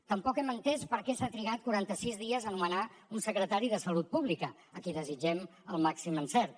tampoc hem entès per què s’ha trigat quaranta sis dies a nomenar un secretari de salut pública a qui desitgem el màxim encert